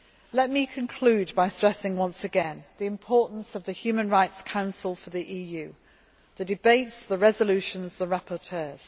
Let me conclude by stressing once again the importance of the Human Rights Council for the EU the debates, the resolutions and the rapporteurs.